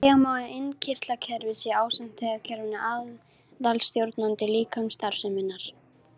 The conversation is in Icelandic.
Segja má að innkirtlakerfið sé ásamt taugakerfinu aðalstjórnandi líkamsstarfseminnar.